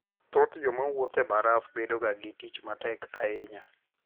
Thoth joma wuotho e baraf bedoga gi tich matek ahinya.